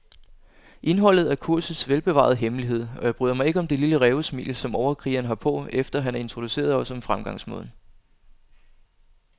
Indholdet er kursets velbevarede hemmelighed, og jeg bryder mig ikke om det lille rævesmil, som overkrigeren har på, efter han har introduceret os om fremgangsmåden.